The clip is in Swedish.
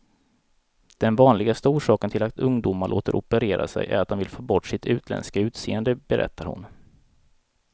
Den vanligaste orsaken till att ungdomar låter operera sig är att de vill få bort sitt utländska utseende, berättar hon.